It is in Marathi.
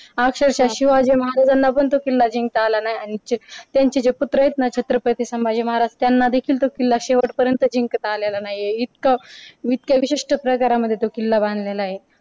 अक्षरशा शिवाजी महाराजांना पण तो किल्ला जिंकता आला नाही आणि त्यांचे पुत्र आहेत ना छत्रपती संभाजी महाराज त्यांना देखील तो किल्ला शेवटपर्यंत जिंकता आलेला नाहीये इतक इतका विशिष्ट प्रकारांमध्ये तो किल्ला बांधलेला आहे.